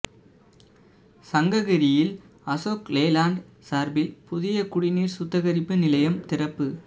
சங்ககிரியில் Ashok Leyland சாா்பில் புதிய குடிநீா் சுத்திகரிப்பு நிலையம் திறப்பு